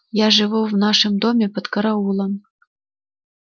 я живу в нашем доме под караулом